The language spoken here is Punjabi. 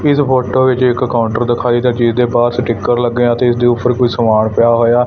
ਇਸ ਫੋਟੋ ਵਿੱਚ ਇੱਕ ਕਾਉਂਟਰ ਦਿਖਾਈ ਦਾ ਜਿਹਦੇ ਬਾਹਰ ਸਟੀਕਰ ਲੱਗੇ ਆ ਤੇ ਇਸਦੇ ਉੱਪਰ ਕੋਈ ਸਮਾਨ ਪਿਆ ਹੋਇਆ --